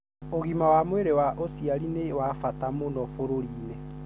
ũgima wa mwĩri wa ũciari nĩ wa bata muno bũrurĩinĩ.